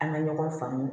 An ka ɲɔgɔn faamu